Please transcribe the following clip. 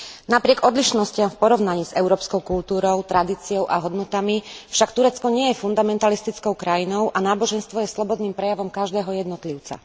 Napriek odlišnostiam v porovnaní s európskou kultúrou, tradíciou a hodnotami však Turecko nie je fundamentalistickou krajinou a náboženstvo je slobodným prejavom každého jednotlivca.